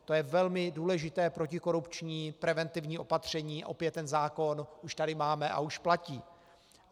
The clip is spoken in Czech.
To je velmi důležité protikorupční preventivní opatření, opět ten zákon už tady máme a už platí.